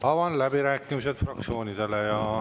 Avan läbirääkimised fraktsioonidele.